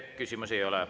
Teile küsimusi ei ole.